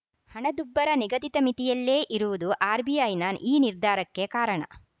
ಹಣದುಬ್ಬರ ನಿಗದಿತ ಮಿತಿಯಲ್ಲೇ ಇರುವುದು ಆರ್‌ಬಿಐನ ಈ ನಿರ್ಧಾರಕ್ಕೆ ಕಾರಣ